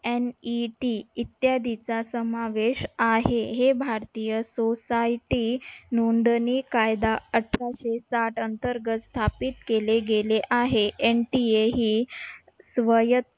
NET इत्यादीचा समावेश आहे. हे भारतीय society नोंदणी कायदा अठराशे साठ अंतर्गत स्थापित केले गेले आहे. NTA ही स्वय